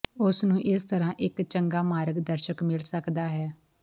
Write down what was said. ਉਸ ਨੂੰ ਇਸ ਤਰ੍ਹਾਂ ਇਕ ਚੰਗਾ ਮਾਰਗ ਦਰਸ਼ਕ ਮਿਲ ਸਕਦਾ ਹੈ